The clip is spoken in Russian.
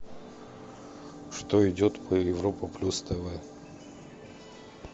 что идет по европа плюс тв